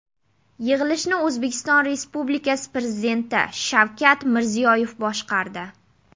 Yig‘ilishni O‘zbekiston Respublikasi Prezidenti Shavkat Mirziyoyev boshqardi.